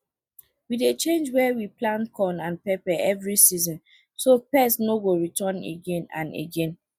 we dey change where we plant corn and pepper every season so pests no go return again and again